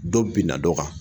Dɔw binna dɔ kan